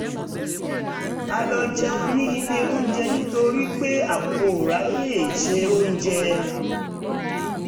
a lọ jẹun ní ilé onjẹ nítorí pé a kò ráyè se oúnjẹ